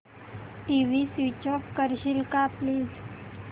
TV switch off करशील का please